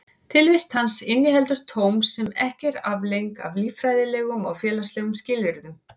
Tilvist hans inniheldur tóm sem ekki er afleiðing af líffræðilegum og félagslegum skilyrðum.